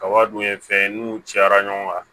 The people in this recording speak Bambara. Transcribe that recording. Kaba dun ye fɛn ye n'u cayara ɲɔgɔn kan